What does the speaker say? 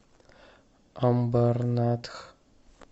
амбарнатх